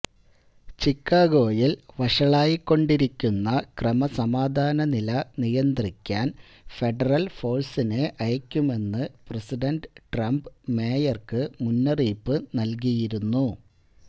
ചിക്കാഗോയില് വഷളായിക്കൊണ്ടിരിക്കുന്ന ക്രമസമാധാന നില നിയന്ത്രിക്കാന് ഫെഡറല് ഫോഴ്സിനെ അയയ്ക്കുമെന്ന് പ്രസിഡന്റ് ട്രംപ് മേയര്ക്ക് മുന്നറിയിപ്പു നല്കിയിരുന്നു